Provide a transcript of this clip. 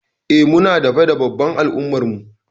Eh Muna da fada babba ã al'umma'n mu.